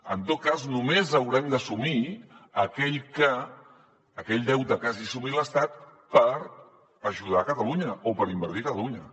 en tot cas només haurem d’assumir aquell deute que hagi assumit l’estat per ajudar a catalunya o per invertir a catalunya